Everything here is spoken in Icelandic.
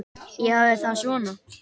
Ég hafði það svona.